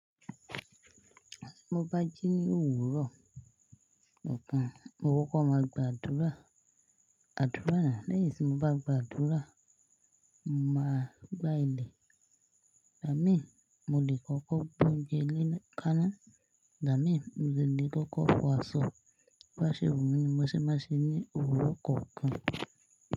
Tí mo bá jí ní òwúrọ̀ nkan, mo kò kọ́ máa gba àdúrà. Àdúrà náà, lẹ́yìn tí mo bá gba àdúrà, màá gbá ilẹ̀. Ìgbá mi, mo lè kọ́kọ́ gbọ́unjẹ léna kàná. Ìgbá mi, mo de lè kọ́kọ́ fọ aṣọ. Bo ba ṣe wù mí ni mo ṣe máa n ṣe ní òwúrọ̀ kookan.